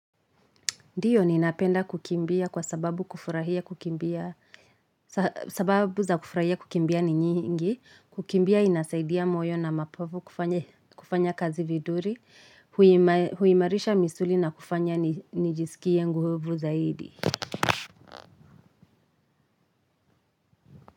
Ndiyo ni napenda kukimbia kwa sababu kufurahia kuki sababu za kufurahia kukimbia ni nyingi, kukimbia inasaidia moyo na mapovu kufanya kazi vizuri, huimarisha misuli na kufanya nijisikie nguvu zaidi.